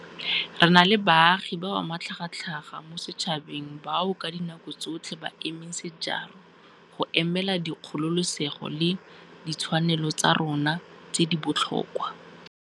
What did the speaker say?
Re na le baagi ba ba matlhagatlhaga mo setšhabeng bao ka dinako tsotlhe ba emeng sejaro go emelela dikgololesego le ditshwanelo tsa rona tse di botlhokwa.